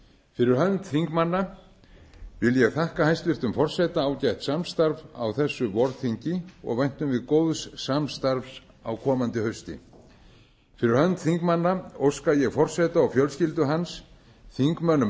fyrir hönd þingmanna vil ég þakka hæstvirtum forseta ágætt samstarf á þessu vorþingi og væntum við góðs samstarfs á komandi hausti fyrir hönd þingmanna óska ég forseta og fjölskyldu hans þingmönnum